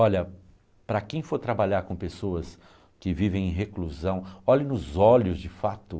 Olha, para quem for trabalhar com pessoas que vivem em reclusão, olhe nos olhos de fato.